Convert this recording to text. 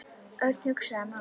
Örn hugsaði málið.